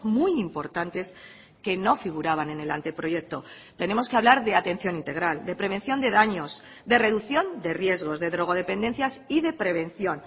muy importantes que no figuraban en el anteproyecto tenemos que hablar de atención integral de prevención de daños de reducción de riesgos de drogodependencias y de prevención